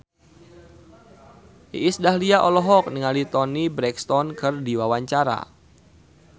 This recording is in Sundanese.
Iis Dahlia olohok ningali Toni Brexton keur diwawancara